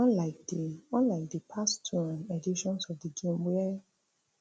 unlike di unlike di past two um editions of di games wia